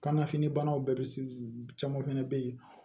Kanna fini banaw bɛɛ bɛ caman fɛnɛ be yen